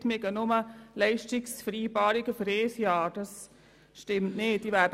Sie haben gesagt, es gebe nur Leistungsvereinbarungen für ein Jahr.